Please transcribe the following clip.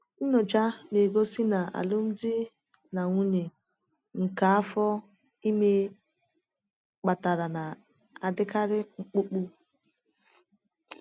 Nnyocha na-egosi na alụmdi na nwunye nke afọ ime kpatara na-adịkarị mkpụmkpụ.